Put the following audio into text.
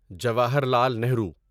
Jawaharlal Nehru